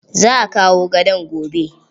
Za a kawo gadon gobe.